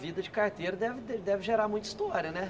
Vida de carteiro deve de deve gerar muita história, né?